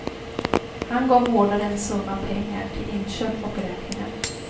Han gav vårdaren en summa pengar till inköp och räkningar.